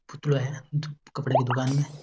पुतलो है कपडा की दुकान में।